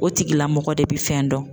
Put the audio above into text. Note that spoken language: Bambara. O tigila mɔgɔ de bi fɛn dɔn.